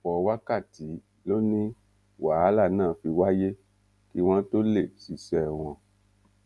ọpọ wákàtí ló ní wàhálà náà fi wáyé kí wọn tóó lè ṣiṣẹ wọn